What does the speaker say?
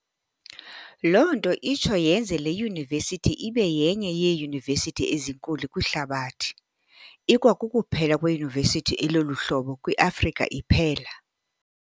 Loo nto itsho iyenze le Yunivesithi ibe yenye yeeyunivesithi ezinkulu kwihlabathi, ikwakukuphela kweyunivesithi elolu hlobo kwi-Afrika iphela.